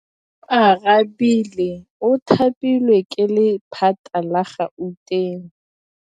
Oarabile o thapilwe ke lephata la Gauteng.